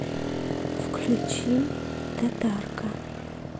включи татарка